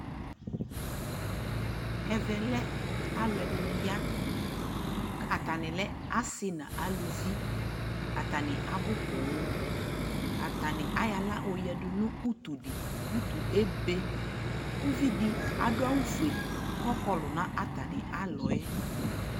ɛvɛ lɛ alʋɛdini ya, kʋ atani lɛ asii nʋ alʋvi, atani abʋ pɔɔm, atani ayɔ ala yɔ yɛdʋ nʋ ʋtʋ di, ʋtʋ ɛbɛ ,ʋvidi adʋ awʋ ƒʋɛ kʋ ɔkɔlʋ nʋ atani alɔɛ